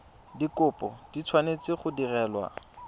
dikopo di tshwanetse go direlwa